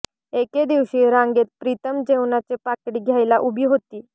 एके दिवशी रांगेत प्रीतम जेवणाचे पाकिट घ्यायला उभी होती